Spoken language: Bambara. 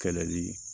Kɛlɛli